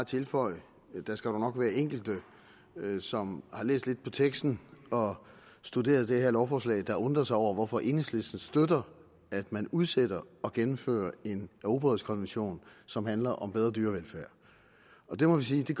tilføje der skal dog nok være enkelte som har læst lidt på teksten og studeret det her lovforslag der har undret sig over hvorfor enhedslistens støtter at man udsætter at gennemføre en europarådskonvention som handler om bedre dyrevelfærd det må vi sige